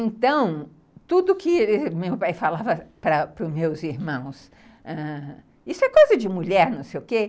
Então, tudo que meu pai falava para para os meus irmãos, isso é coisa de mulher, não sei o quê.